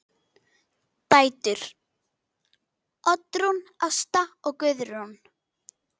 Dætur: Oddrún Ásta og Guðrún.